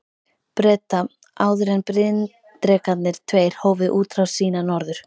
Breta, áður en bryndrekarnir tveir hófu útrás sína norður.